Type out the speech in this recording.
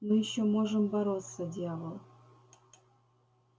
мы ещё можем бороться дьявол